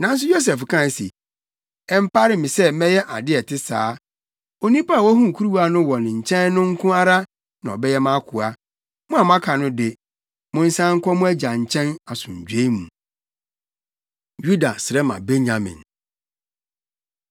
Nanso Yosef kae se, “Ɛmpare me sɛ mɛyɛ ade a ɛte saa. Onipa a wohuu kuruwa no wɔ ne nkyɛn no nko ara na ɔbɛyɛ mʼakoa. Mo a moaka no de, monsan nkɔ mo agya nkyɛn asomdwoe mu.” Yuda Srɛ Ma Benyamin